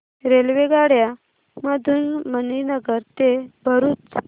रेल्वेगाड्यां मधून मणीनगर ते भरुच